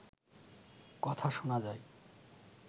কথা শোনা যায়